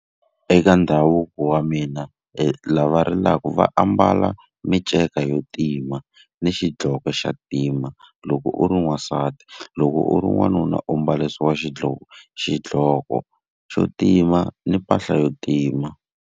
Eka ndhavuko wa mina lava rilaka va ambala minceka ya tima ni xidloko xa ntima, loko u ri n'wansati. Loko u ri n'wanuna u mbarisiwa xidloko xidloko xa ntima ni mpahla ya ntima